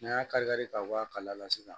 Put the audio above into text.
N'an y'a kari kari ta bɔ a kala la sisan